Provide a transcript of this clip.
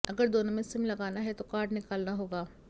अगर दोनों में सिम लगाना है तो कार्ड निकालना होगा